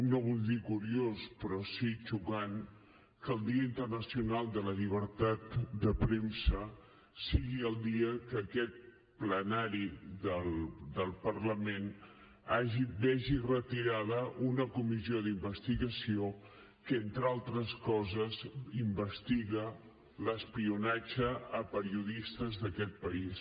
no vull dir curiós però sí xocant que el dia internacional de la llibertat de premsa sigui el dia que aquest plenari del parlament vegi retirada una comissió d’investigació que entre altres coses investiga l’espionatge a periodistes d’aquest país